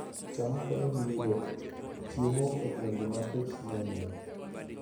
cham konyo ji yudo chiemo e gwenge ma kech ng'enyie